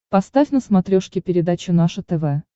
поставь на смотрешке передачу наше тв